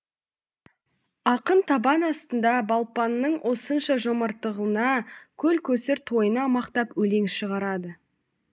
ақын табан астында балпанның осынша жомарттығына көл көсір тойына мақтап өлең шығарады